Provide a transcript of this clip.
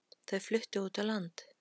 Þau fluttu út á land.